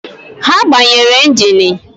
He gbanyere engini